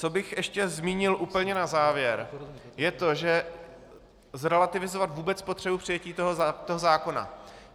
Co bych ještě zmínil úplně na závěr, je to, že - zrelativizovat vůbec potřebu přijetí toho zákona.